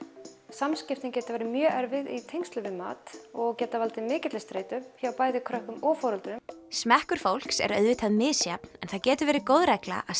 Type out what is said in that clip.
samskiptin geta verið mjög erfið í tengslum við mat og geta valdið mikilli streitu hjá bæði börnum og foreldrum smekkur fólks er auðvitað misjafn en það getur verið góð regla að